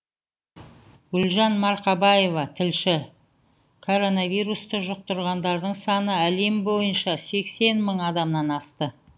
гүлжан марқабаева тілші коронавирусты жұқтырғандардың саны әлем бойынша сексен мың адамнан асты